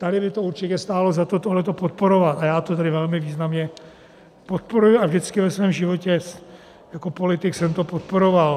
Tady by to určitě stálo za to tohle podporovat a já to tedy velmi významně podporuji a vždycky ve svém životě jako politik jsem to podporoval.